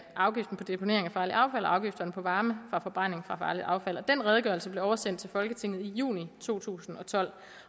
afgiften på deponering af farligt affald og afgifterne på varme fra forbrænding af farligt affald den redegørelse blev oversendt til folketinget i juli to tusind og tolv